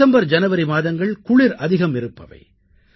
December ஜனவரி மாதங்கள் குளிர் அதிகம் இருப்பவை